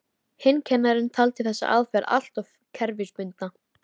Hinn kennarinn taldi þessa aðferð alltof kerfisbundna.